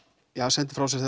sendi frá sér